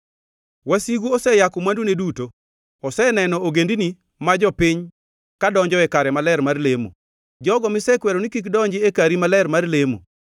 Wasigu oseyako mwandune duto; oseneno ogendini ma jopiny ka donjoe kare maler mar lemo, jogo misekwero ni kik donji e kari maler mar lemo.